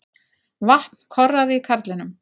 Vatn korraði í karlinum.